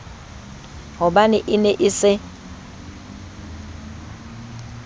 hobane e ne e se